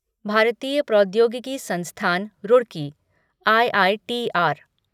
भारतीय प्रौद्योगिकी संस्थान रूरकी आईआईटीआर